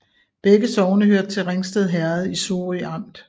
Begge sogne hørte til Ringsted Herred i Sorø Amt